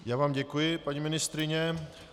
Já vám děkuji, paní ministryně.